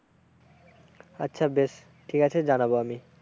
আচ্ছা বেশ, ঠিক আছে জনাবো আমি।